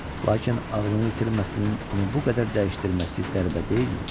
Lakin ağlını itirməsinin onu bu qədər dəyişdirməsi qəribə deyilmi?